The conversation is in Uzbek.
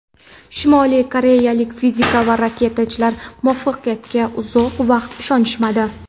Shimoliy koreyalik fizik va raketachilar muvaffaqiyatiga uzoq vaqt ishonishmadi.